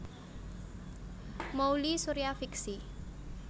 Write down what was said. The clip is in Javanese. Mouly Surya fiksi